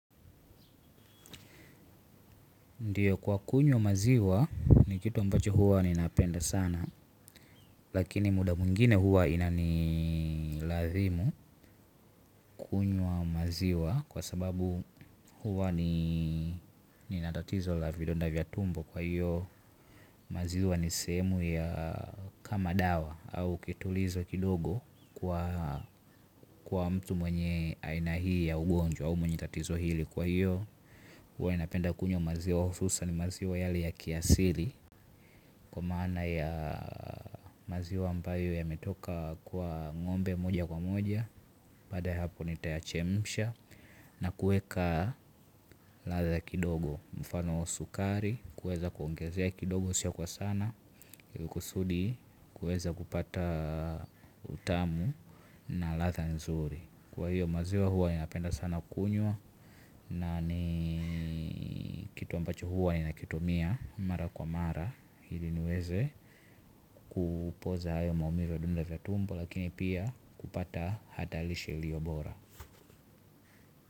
Ndiyo kwa kunywa maziwa ni kitu ambacho huwa ninapenda sana. Lakini muda mwingine huwa inanilazimu kunywa maziwa. Kwa sababu huwa nina tatizo la vidonda vya tumbo kwa hiyo. Maziwa ni sehemu ya kama dawa au kitulizo kidogo kwa mtu mwenye aina hii ya ugonjwa. Au mwenye tatizo hili kwa hiyo huwa ninapenda kunywa maziwa hususani maziwa yale ya kiasili. Kwa maana ya maziwa ambayo yametoka kwa ng'ombe moja kwa moja. Baada ya hapo nitayachemsha. Na kueka ladha kidogo mfano sukari. Kueza kuongezea kidogo sio kwa sana kusudi kuweza kupata utamu na ladha nzuri. Kwa hiyo maziwa huwa ninapenda sana kunywa. Na ni kitu ambacho huwa ninakitumia mara kwa mara ili niweze kupoza hayo maumivu ya vidonda vya tumbo lakini pia kupata hata lishe ilio bora.